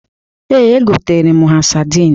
Ee, egotere m ha sadịn.